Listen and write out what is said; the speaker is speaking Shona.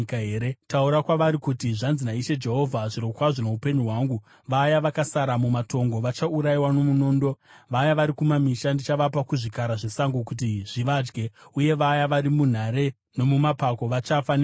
“Taura kwavari kuti, ‘Zvanzi naIshe Jehovha: Zvirokwazvo noupenyu hwangu, vaya vakasara mumatongo vachaurayiwa nomunondo, vaya vari kumamisha, ndichavapa kuzvikara zvesango kuti zvivadye, uye vaya vari munhare nomumapako vachafa nehosha.